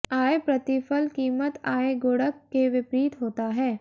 आय प्रतिफल कीमत आय गुणक के विपरीत होता है